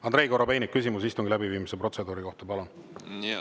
Andrei Korobeinik, küsimus istungi läbiviimise protseduuri kohta, palun!